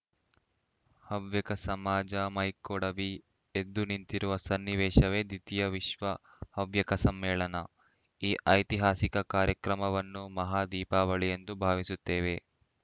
ಹವ್ಯಕ ಸಮಾಜ ಮೈಕೊಡವಿ ಎದ್ದು ನಿಂತಿರುವ ಸನ್ನಿವೇಶವೇ ದ್ವಿತೀಯ ವಿಶ್ವ ಹವ್ಯಕ ಸಮ್ಮೇಳನ ಈ ಐತಿಹಾಸಿಕ ಕಾರ್ಯಕ್ರಮವನ್ನು ಮಹಾ ದೀಪಾವಳಿ ಎಂದು ಭಾವಿಸುತ್ತೇವೆ